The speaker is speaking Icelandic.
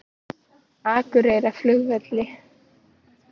Akureyrarflugvelli